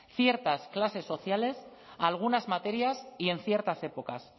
ciertas clases sociales algunas materias y en ciertas épocas